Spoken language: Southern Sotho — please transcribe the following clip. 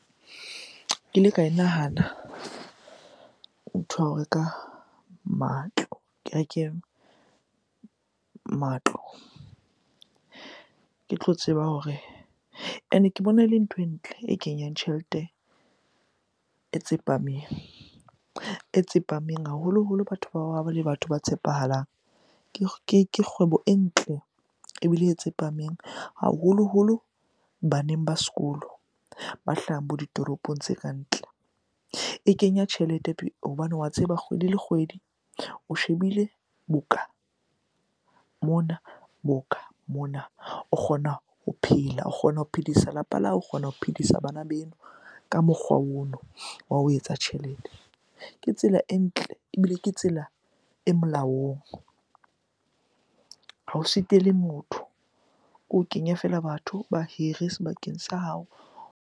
Ke ile ka e nahana ntho ya ho reka matlo, ke reke matlo. Ke tlo tseba hore and-e ke bona e le ntho e ntle e kenyang tjhelete e tsepameng, e tsepameng haholoholo batho bao ha ba le batho ba tshepahalang. Ke kgwebo e ntle ebile e tsepameng haholoholo baneng ba sekolo ba hlahang bo ditoropong tse ka ntle. E kenya tjhelete hobane wa tseba kgwedi le kgwedi o shebile boka, mona boka, mona o kgona ho phela, o kgona ho phedisa lapa la hao, o kgona ho phedisa bana beno ka mokgwa ono wa ho etsa tjhelete. Ke tsela e ntle ebile ke tsela e molaong, ha o sitele motho. Ke ho kenya fela batho ba hire sebakeng sa hao.